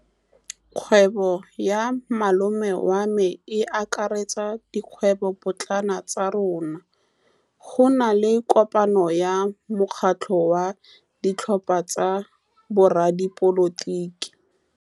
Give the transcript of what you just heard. Kgwêbô ya malome wa me e akaretsa dikgwêbôpotlana tsa rona. Go na le kopanô ya mokgatlhô wa ditlhopha tsa boradipolotiki.